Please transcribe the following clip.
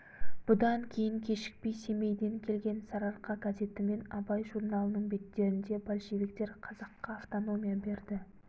бұдан кейін кешікпей семейден келген сарыарқа газеті мен абай журналының беттерінде большевиктер қазаққа автономия берді